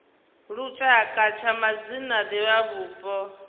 lushaka tsha madzina a divhavhupo